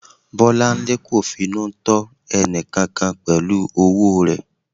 Bolanle kò finú tọ́ ẹnìkankan pẹ̀lú owó rẹ̀.